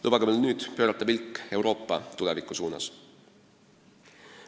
Lubage mul nüüd pöörata pilk Euroopa tuleviku suunas.